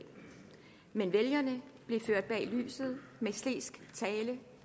men vælgerne blev ført bag lyset med slesk tale